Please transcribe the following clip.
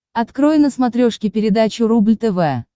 открой на смотрешке передачу рубль тв